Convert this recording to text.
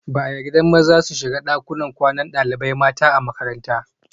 Ba a yarda maza su shiga dakunan kwanan dalibai mata a makaranta